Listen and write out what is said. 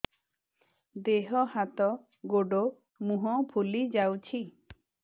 ଦେହ ହାତ ଗୋଡୋ ମୁହଁ ଫୁଲି ଯାଉଛି